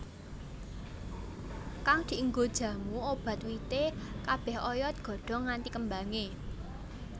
Kang dienggo jamu obat wite kabeh oyod godhong nganti kembange